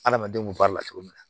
Adamadenw kun b'a la cogo min na